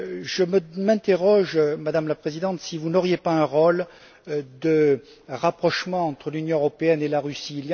Je me demande, Madame la Présidente, si vous n'auriez pas un rôle à jouer dans le rapprochement entre l'Union européenne et la Russie?